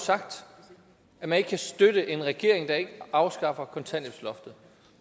sagt at man ikke kan støtte en regering der ikke afskaffer kontanthjælpsloftet